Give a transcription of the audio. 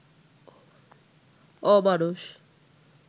অমানুষ